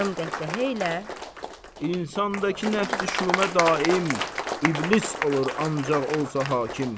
Yarım qəhqəhə ilə insandakı nəfsi-şumə daim iblis olur, ancaq olsa hakim.